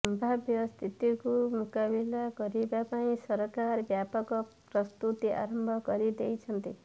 ସମ୍ଭାବ୍ୟ ସ୍ଥିତିକୁ ମୁକାବିଲା କରିବା ପାଇଁ ସରକାର ବ୍ୟାପକ ପ୍ରସ୍ତୁତି ଆରମ୍ଭ କରି ଦେଇଛନ୍ତି